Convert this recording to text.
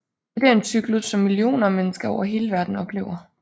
Dette er en cyklus som millioner af mennesker over hele verden oplever